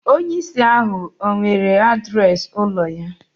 Onye ìsì ahu ọ̀ nwere adreesị ụlọ ya